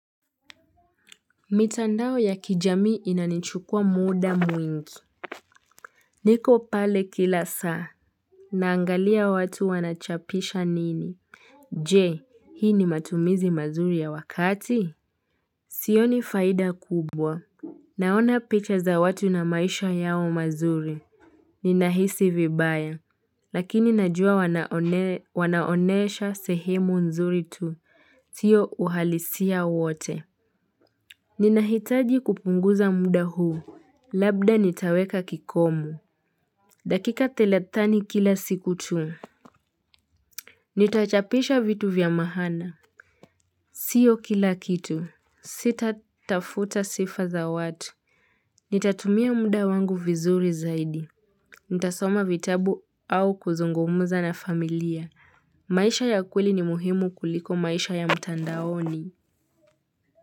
Mitandao ya kijamii inanichukua muda mwingi. Niko pale kila saa. Naangalia watu wanachapisha nini? Je, hii ni matumizi mazuri ya wakati? Sioni faida kubwa. Naona picha za watu na maisha yao mazuri. Ninahisi vibaya, lakini najua wanaonesha sehimu nzuri tu, sio uhalisia wote. Ninahitaji kupunguza muda huu. Labda nitaweka kikomo dakika thelathini kila siku tu Nitachapisha vitu vya maana Sio kila kitu Sitatafuta sifa za watu Nitatumia muda wangu vizuri zaidi Nitasoma vitabu au kuzungumuza na familia maisha ya kweli ni muhimu kuliko maisha ya mtandaoni.